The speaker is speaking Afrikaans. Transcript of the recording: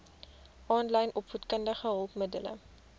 aanlyn opvoedkundige hulpmiddele